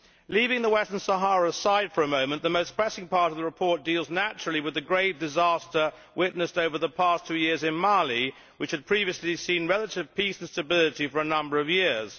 Leaving Western Sahara aside for a moment, the most pressing part of the report deals naturally with the grave disaster witnessed over the past two years in Mali, which had previously seen relative peace and stability for a number of years.